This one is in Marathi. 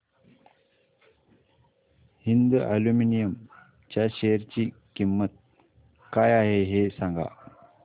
हिंद अॅल्युमिनियम च्या शेअर ची किंमत काय आहे हे सांगा